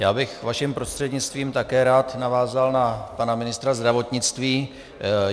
Já bych vašim prostřednictvím také rád navázal na pana ministra zdravotnictví.